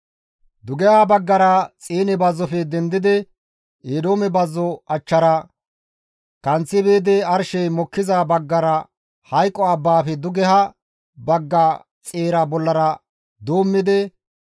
dugeha baggara Xiine bazzofe dendidi Eedoome bazzo achchara kanththi biidi arshey mokkiza baggara Hayqo abbaafe dugeha bagga xeera bollara doommidi,